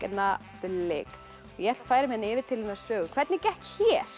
augnablik ég ætla að færa mig yfir til hennar Sögu hvernig gekk hér